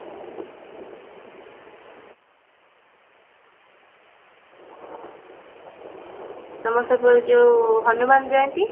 ତମ ସେପଟେ ଯୋଉ ହନୁମାନ ଜୟନ୍ତୀ